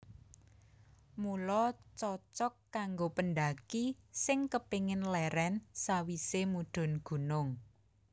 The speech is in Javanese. Mula cocog kanggo pendhaki sing kepingin lérèn sawisé mudhun gunung